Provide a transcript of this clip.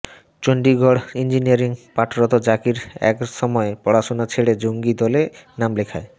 Chandigarh engineering পাঠরত জাকির একসময় পড়াশোনা ছেড়ে জঙ্গি দলে নাম লেখায়